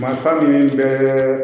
Mata min bɛɛ